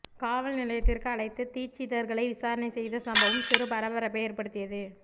காவல் நிலையத்திற்கு அழைத்து தீட்சிதர்களை விசாரணை செய்த சம்பவம் சிறு பரபரப்பை ஏற்படுத்தியது